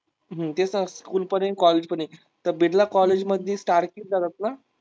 हम्म तेच ना स्कूल पण आहे, कॉलजे पण आहे. तर बिर्ला कॉलजे मधली